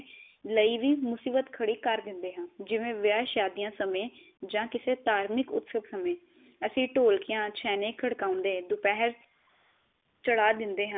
ਈ ਵੀ ਮੁਸੀਬਤ ਖੜੀ ਕਰ ਦਿੰਦੇ ਹਾਂ ਜਿਵੇ ਵਿਆਹ ਸ਼ਾਦਿਆ ਸਮੇ ਜਾਂ ਕਿਸੇ ਧਾਰਮਿਕ ਉਤਸਵ ਸਮੇ। ਅਸੀਂ ਢੋਲਕਿਆ ਛੇਨੇ ਖੜਕਾਉਂਦੇ ਦੋਪਹਰ ਚੜਾ ਦਿੰਦੇ ਹਾਂ।